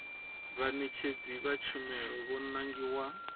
vhaṋetshedzi vha tshumelo vho nangiwaho